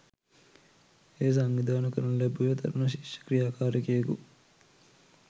එය සංවිධාන කරනු ලැබුවේ තරුණ ශිෂ්‍ය ක්‍රියාකාරිකයෙකු